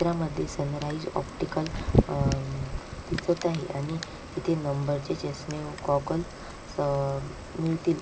चित्रामध्ये sunrise optical uh दिसत आहे आणि तिथे नंबरचे चष्मे व गॉगल स अ मिळतील.